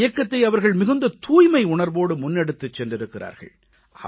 இந்த இயக்கத்தை அவர்கள் மிகுந்த தூய்மை உணர்வோடு முன்னெடுத்துச் சென்றிருக்கிறார்கள்